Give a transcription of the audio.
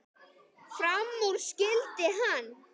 Fram úr skyldi hann.